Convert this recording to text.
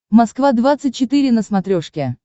москва двадцать четыре на смотрешке